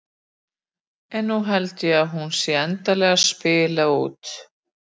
En nú held ég að hún sé endanlega að spila út.